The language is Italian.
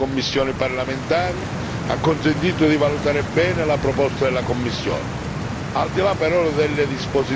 Un lungo e articolato dibattito nelle commissioni parlamentari ha consentito di valutare bene la proposta della Commissione.